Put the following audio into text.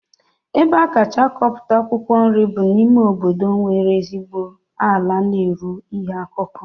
Ebe a kacha akọpụta akwụkwọ nri bụ n'ime obodo nwere ezigbo ala na-eru ihe akụkụ